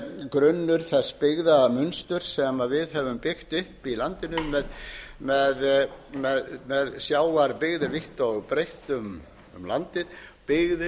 grunnur þess byggðamunsturs sem við höfum byggt upp í landinu með sjávarbyggðum vítt og breitt um landið byggðir